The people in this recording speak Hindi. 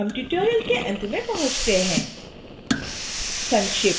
इसी के साथ हम tutorial के अंत में पहुँचते हैं